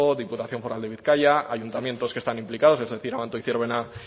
diputación foral de bizkaia ayuntamientos que están implicados es decir abanto zierbena